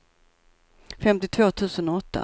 femtiotvå tusen åtta